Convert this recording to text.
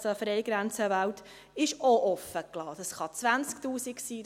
Es können 20 000 Franken sein, es können 50 000 Franken sein.